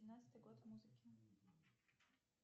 двенадцатый год в музыке